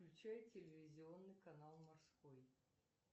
включай телевизионный канал морской